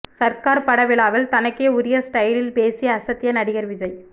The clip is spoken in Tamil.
சர்கார் பட விழாவில் தனக்கே உரிய ஸ்டைலில் பேசி அசத்திய நடிகர் விஜய்